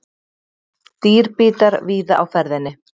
Dýrbítar víða á ferðinni